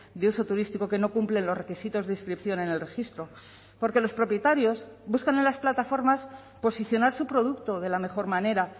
de uso turístico que no cumplen los requisitos de inscripción en el registro porque los propietarios buscan en las plataformas posicionar su producto de la mejor manera